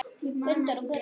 Gunndór og Guðrún.